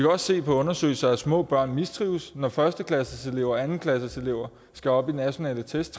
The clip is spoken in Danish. også se på undersøgelser at små børn mistrives når første klasseselever anden klasseselever skal op i nationale test